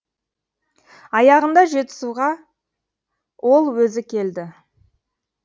аяғында жетісуға ол өзі келді